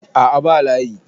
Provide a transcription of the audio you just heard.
a' a ba layi